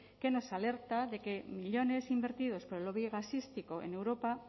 que nos alerta de que millónes invertidos por el lobby gasístico en europa